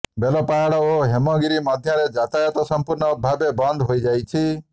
ବେଲପାହାଡ ଓ ହେମଗିିରି ମଧ୍ୟରେ ଯାତାୟାତ ସଂପୂର୍ଣ୍ଣ ଭାବେ ବନ୍ଦ ହୋଇଯାଇଛି